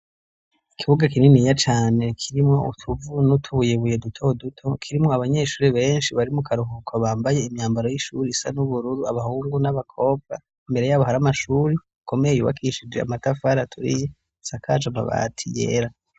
ikibuga kininiya cane kirimwo utuvu n'utubuyebuye duto duto kirimwo abanyeshuri benshi bari mu karuhuko bambaye imyambaro y'ishuri isa n'ubururu abahungu n'abakobwa imbere yabo hari amashuri akomeye yubakishije amatafari aturiye asakaje amabati yera